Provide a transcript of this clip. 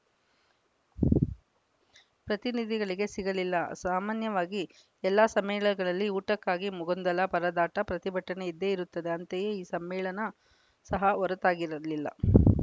ಪ್ರತಿನಿಧಿಗಳಿಗೇ ಸಿಗಲಿಲ್ಲ ಸಾಮಾನ್ಯವಾಗಿ ಎಲ್ಲ ಸಮ್ಮೇಳನಗಳಲ್ಲಿ ಊಟಕ್ಕಾಗಿ ಗೊಂದಲ ಪರದಾಟ ಪ್ರತಿಭಟನೆ ಇದ್ದೇ ಇರುತ್ತದೆ ಅಂತೆಯೇ ಈ ಸಮ್ಮೇಳನ ಸಹ ಹೊರತಾಗಿರಲಿಲ್ಲ